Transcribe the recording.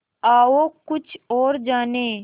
आओ कुछ और जानें